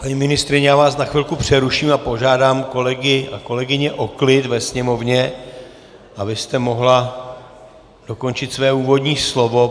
Paní ministryně, já vás na chvilku přeruším a požádám kolegy a kolegyně o klid ve sněmovně, abyste mohla dokončit své úvodní slovo.